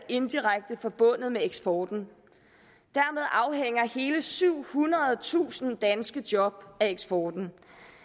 indirekte forbundet med eksporten dermed afhænger hele syvhundredetusind danske job af eksporten